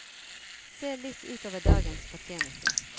Se litt ut over dagens fortjeneste.